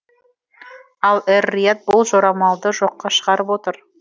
ал эр рияд бұл жорамалды жоққа шығарып отыр